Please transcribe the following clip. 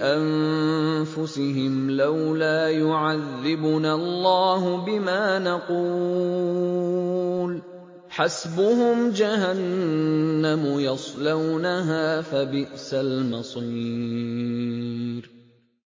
أَنفُسِهِمْ لَوْلَا يُعَذِّبُنَا اللَّهُ بِمَا نَقُولُ ۚ حَسْبُهُمْ جَهَنَّمُ يَصْلَوْنَهَا ۖ فَبِئْسَ الْمَصِيرُ